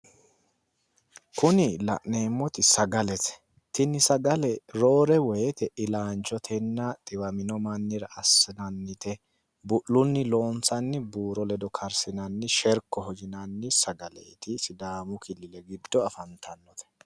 Kunni la'neemoti sagalete tinni sagale roore woyete illaanchotenna xiwamino asinnannite bu'lunni loonsanni buuro ledo karsinna sherkoho yinnanni sagaleeti sidaamu qoqowi gido afantanote